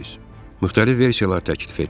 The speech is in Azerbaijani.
Müxtəlif versiyalar təklif etdim.